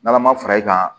N'ala ma fara i kan